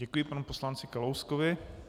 Děkuji panu poslanci Kalouskovi.